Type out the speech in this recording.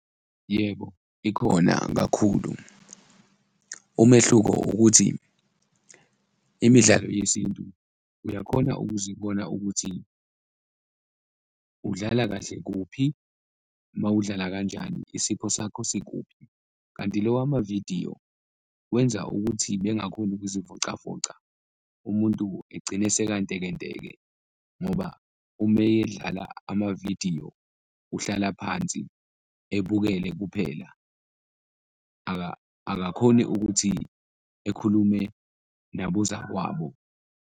Yebo, ikhona kakhulu, umehluko ukuthi imidlalo yesintu uyakhona ukuzibona ukuthi udlala kahle kuphi mawudlala kanjani, isipho sakho sikuphi? Kanti lo wamavidiyo wenza ukuthi bengakhoni ukuzivocavoca, umuntu egcine sekantekenteke ngoba uma edlala amavidiyo uhlala phansi ebukele kuphela, akakhoni ukuthi ekhulume nabozakwabo.